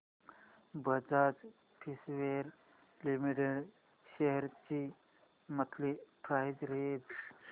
Bajaj Finserv limited shares ची monthly price range